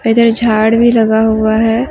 इधर झाड़ भी लगा हुआ है।